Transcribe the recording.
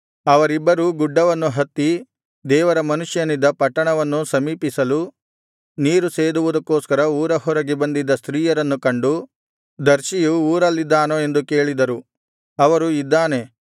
ಅವರಿಬ್ಬರೂ ಗುಡ್ಡವನ್ನು ಹತ್ತಿ ದೇವರ ಮನುಷ್ಯನಿದ್ದ ಪಟ್ಟಣವನ್ನು ಸಮೀಪಿಸಲು ನೀರು ಸೇದುವುದಕ್ಕೋಸ್ಕರ ಊರ ಹೊರಗೆ ಬಂದಿದ್ದ ಸ್ತ್ರೀಯರನ್ನು ಕಂಡು ದರ್ಶಿಯು ಊರಲ್ಲಿದ್ದಾನೋ ಎಂದು ಕೇಳಿದರು ಅವರು ಇದ್ದಾನೆ